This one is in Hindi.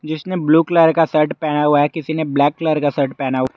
किसी ने ब्लू कलर का शर्ट पहना हुआ है किसी ने ब्लैक कलर का शर्ट पहना हु--